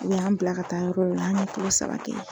U y'an bila ka taa yɔrɔ wo yɔrɔ an bi kalo saba kɛ yen.